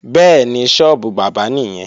Bẹ́ẹ̀ni, sọ́ọ́bù bábà nìyẹn